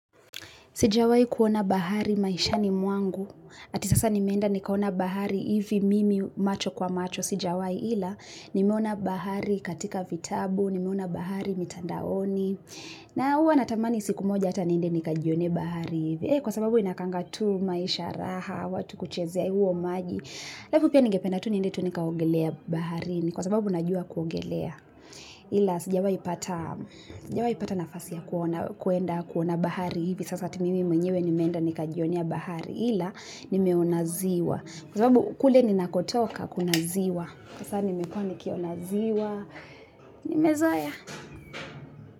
Sijawai kuona bahari maishani mwangu, ati sasa ni menda ni kuona bahari mimi macho kwa macho sijawai ila nimeona bahari katika vitabu, ni miona bahari mitandaoni na hua natamani siku moja ati nende ni kajione bahari eh, kwa sababu ina kangatu maisha raha, watu kuchezea huo maji laifu pia nige pendatu ni nende tunika ogelia bahari ni kwa sababu na jua kuogelia ila sijawai pata nafasi ya kuona bahari sasa ni mimi mainiwe nimenda ni kajione bahari ila ni miona ziwa kwa sababu kule ninakotoka kuona ziwa kwa sana nimekuwa ni ki onaziwa ni mezoea.